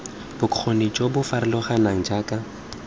bokgoni jo bo farologaneng jaaka